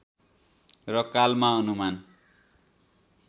र कालमा अनुमान